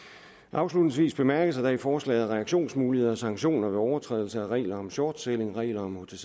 afslutningsvis bemærkes at der i forslaget er reaktionsmuligheder og sanktioner ved overtrædelse af reglerne om shortselling reglerne